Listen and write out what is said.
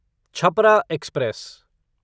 Chhapra express